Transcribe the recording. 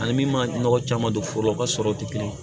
Ani min ma nɔgɔ caman don foro la u ka sɔrɔw tɛ kelen ye